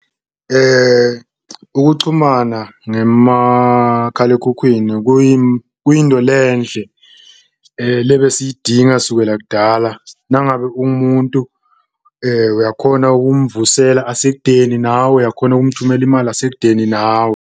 Ukuchumana ngemakhalekhukhwini kuyindo lenhle lebesiyidinga kusukela kudala, nangabe ungumuntu uyakhona ukumvusela asekudeni nawe, uyakhona ukumthumela imali esekudeni nawe.